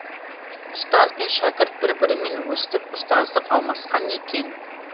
ұстаз бен шәкірт бір бірімен өстіп ұстаздық алмасқан екен